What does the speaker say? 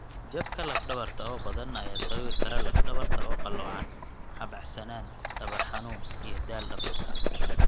Jabka laf dhabarta oo badan ayaa sababi kara laf dhabarta oo qaloocan, habacsanaan, dhabar xanuun, iyo daal dhabarka.